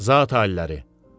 Zat aliləri.